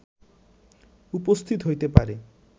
উপস্থিত হইতে পারে